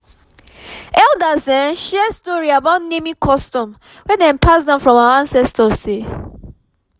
elders um share story about naming custom wey dem pass down from our ancestors um